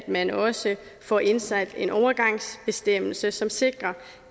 man også får indsat en overgangsbestemmelse som sikrer